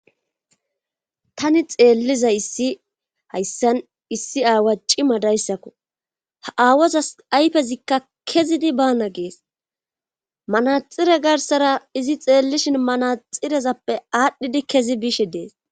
Tani xeelliza issi hayssan issi aawa cima dayssakko ha aawazas ayfezikka kezidi baana gees manaxire garsara izi xeellishin manaxirezappe aadhdhidi kezi biishe dees.